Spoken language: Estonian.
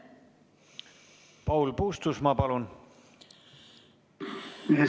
Paul Puustusmaa, palun!